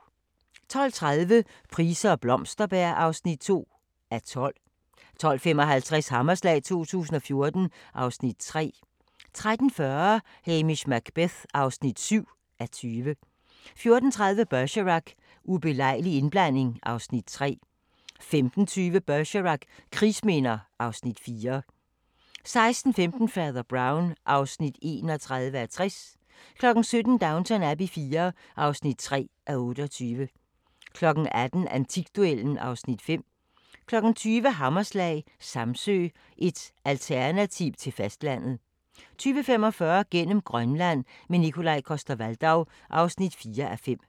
12:30: Price og Blomsterberg (2:12) 12:55: Hammerslag 2014 (Afs. 3) 13:40: Hamish Macbeth (7:20) 14:30: Bergerac: Ubelejlig indblanding (Afs. 3) 15:20: Bergerac: Krigsminder (Afs. 4) 16:15: Fader Brown (31:60) 17:00: Downton Abbey IV (3:28) 18:00: Antikduellen (Afs. 5) 20:00: Hammerslag – Samsø, et alternativ til fastlandet 20:45: Gennem Grønland – med Nikolaj Coster-Waldau (4:5)